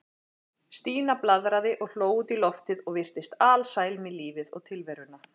Stína blaðraði og hló út í loftið og virtist alsæl með lífið og tilveruna.